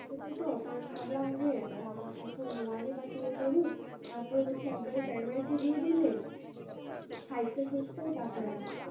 ও ছোট তো, তাই আমি ভাবলাম যে আহ এখন one বা two এ পড়ুক। তারপরে হচ্ছে একেবারে primary তে দিয়ে দিলে, five টা শেষ করুক তারপরে